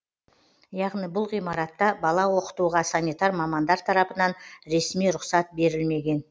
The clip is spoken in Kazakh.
яғни бұл ғимаратта бала оқытуға санитар мамандар тарапынан ресми рұқсат берілмеген